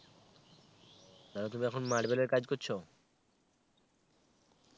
তাহলে তুমি এখন marble এর কাজ করছো?